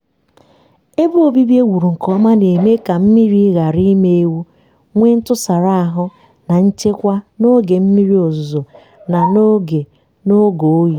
ebe obibi ewuru nke ọma na-eme ka mmiri ghara ịma ewu nwee ntụsara ahụ na nchekwa n'oge mmiri ozuzo na oge na oge oyi.